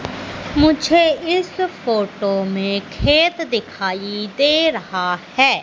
मुझे इस फोटो में खेत दिखाई दे रहा है।